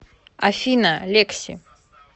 афина лекси